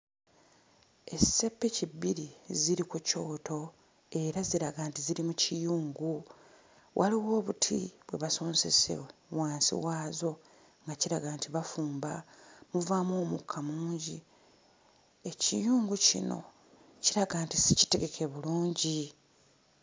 Esseppiki bbiri ziri ku kyoto era ziraga nti ziri mu kiyungu. Waliwo obuti bwe basonsese wansi waazo nga kiraga nti bafumba. Muvaamu omukka mungi. Ekiyungu kino kiraga nti si kitegeke bulungi.